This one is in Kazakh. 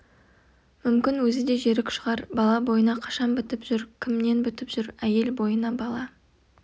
мүмкін өзі де жерік шығар бала бойына қашан бітіп жүр кімнен бітіп жүр әйел бойына бала